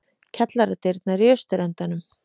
Kjallaradyrnar í austurendanum.